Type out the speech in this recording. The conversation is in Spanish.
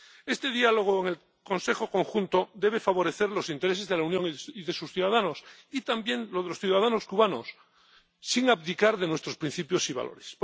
Este diálogo en el Consejo Conjunto debe favorecer los intereses de la Unión y de sus ciudadanos y también los de los ciudadanos cubanos, sin abdicar de nuestros principios y valores.